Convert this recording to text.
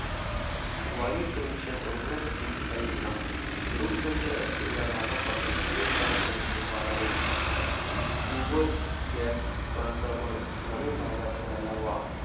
वायूप्रदूषण रोखण्यासाठी उपाययोजना. लोकसंख्या असलेल्या भागापासून, दूर कारखाने उभारावेत. गोबर gas कांचा~ फरक नवीन भागात व्हायला हवा.